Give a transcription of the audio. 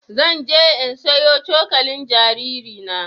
Zan je in sayo cokalin jaririna.